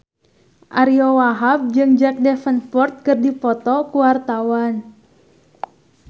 Ariyo Wahab jeung Jack Davenport keur dipoto ku wartawan